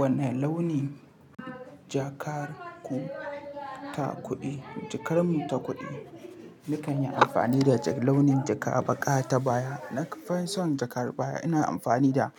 Wane launi jakar ku ta kuɗi? Jakar mu ta kuɗi, nikan yi amfani da launin jaka baƙa ta baya. Na fi son jakar baya. Ina amfani da